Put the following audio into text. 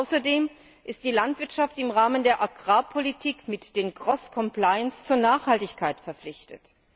Außerdem ist die Landwirtschaft im Rahmen der Agrarpolitik mit der cross compliance zur Nachhaltigkeit verpflichtet.